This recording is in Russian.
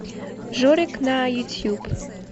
жорик на ютьюб